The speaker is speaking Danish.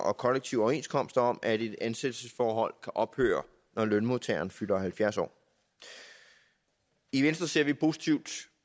og kollektive overenskomster om at et ansættelsesforhold ophøre når lønmodtageren fylder halvfjerds år i venstre ser vi positivt